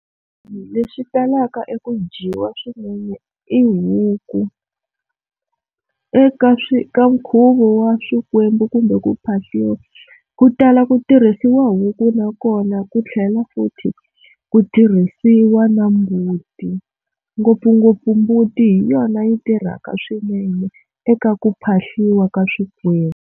Leswi talaka eku dyiwa swinene i huku eka swi ka nkhuvo wa swikwembu kumbe ku phahliwa ku tala ku tirhisiwa huku nakona ku tlhela futhi ku tirhisiwa na mbuti ngopfungopfu mbuti hi yona yi tirhaka swinene eka ku phahliwa ka swikwembu.